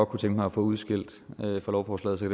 kunne tænke mig at få udskilt fra lovforslaget så